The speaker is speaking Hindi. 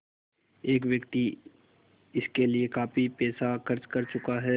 एक व्यक्ति इसके लिए काफ़ी पैसा खर्च कर चुका है